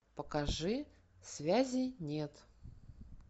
покажи связи нет